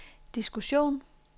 diskussion